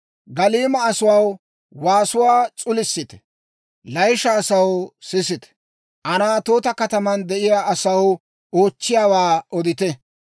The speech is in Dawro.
Galliima asaw, waasuwaa s'ulisite! Layisha asaw, sisite! Anaatoota kataman de'iyaa asaw, oochchiyaawaa odite!